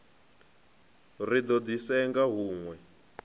ri do di senga hunwe